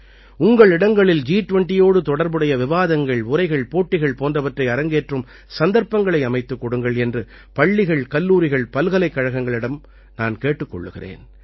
உங்கள் இடங்களில் ஜி20யோடு தொடர்புடைய விவாதங்கள் உரைகள் போட்டிகள் போன்றவற்றை அரங்கேற்றும் சந்தர்ப்பங்களை அமைத்துக் கொடுங்கள் என்று பள்ளிகள் கல்லூரிகள் பல்கலைக்கழகங்களிடம் நான் கேட்டுக் கொள்கிறேன்